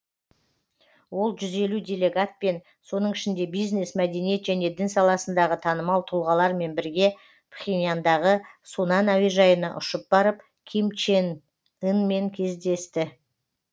ол жүз елу делегатпен соның ішінде бизнес мәдениет және дін саласындағы танымал тұлғалармен бірге пхеньяндағы сунан әуежайына ұшып барып ким чен ынмен кездесті